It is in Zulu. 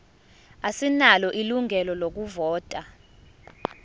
asinalo ilungelo lokuvota